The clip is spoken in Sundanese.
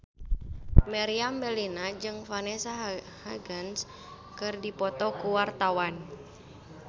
Meriam Bellina jeung Vanessa Hudgens keur dipoto ku wartawan